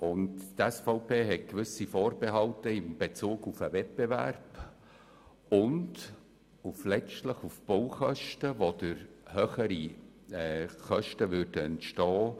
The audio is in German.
Die SVP hat gewisse Vorbehalte in Bezug auf den Wettbewerb, weil letztlich höhere Kosten entstünden.